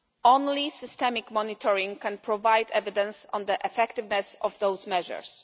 Only systemic monitoring can provide evidence on the effectiveness of those measures.